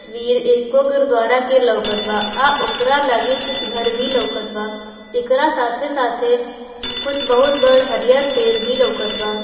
तस्वीर एगो गुरु द्वारा के लोकत बा आ ओकरा लगे कुछ घर भी लोकत बा एकरा साथे-साथे कुछ बहुत बड़ हरिहर पेड़ भी लोकत बा।